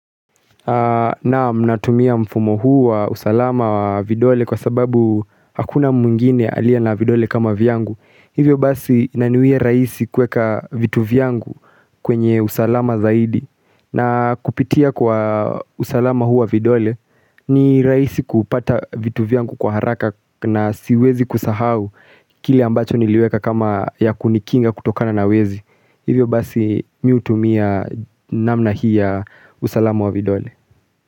Naam natumia mfumo huu wa usalama wa vidole kwa sababu hakuna mwngine aliye na vidole kama vyangu Hivyo basi inaniwia raisi kuweka vitu vyangu kwenye usalama zaidi na kupitia kwa usalama huu wa vidole ni rahisi kupata vitu vyangu kwa haraka na siwezi kusahau Kile ambacho niliweka kama ya kunikinga kutokana na wezi Hivyo basi mi hutumia namna hii ya usalamu wa vidole.